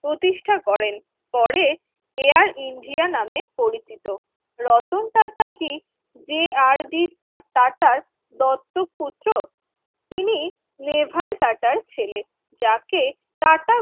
প্রতিষ্ঠা করেন পরে Air India নামে পরিচিত রতন টাটা কি যে আর ডি আটাটার দত্তকপুত্র তিনি নেভাল টাটার ছেলে যাকে টাটা group র